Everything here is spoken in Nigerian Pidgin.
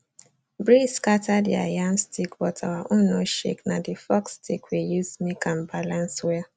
breeze scatter their yam stick but our own no shakena the forked stick we use make am balance well